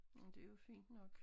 Men det jo fint nok